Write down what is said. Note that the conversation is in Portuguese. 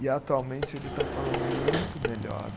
E atualmente ele está falando muito melhor.